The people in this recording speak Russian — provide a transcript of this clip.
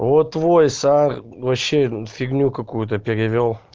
вот твой вообще фигню какую-то